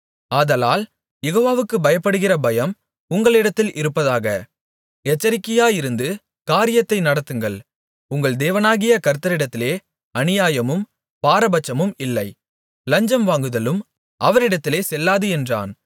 ஆதலால் யெகோவாவுக்குப் பயப்படுகிற பயம் உங்களிடத்தில் இருப்பதாக எச்சரிக்கையாயிருந்து காரியத்தை நடத்துங்கள் உங்கள் தேவனாகிய கர்த்தரிடத்திலே அநியாயமும் பாரபட்சமும் இல்லை லஞ்சம் வாங்குதலும் அவரிடத்திலே செல்லாது என்றான்